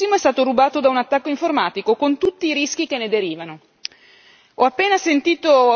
Il suo software di spionaggio avanzatissimo è stato rubato da un attacco informatico, con tutti i rischi che ne derivano.